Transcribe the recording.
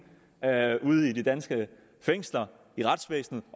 ude i de danske fængsler og i retsvæsenet